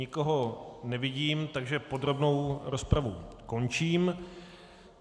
Nikoho nevidím, takže podrobnou rozpravu končím.